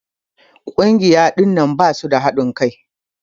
Kungiya ɗinnan basu da hadin Kai.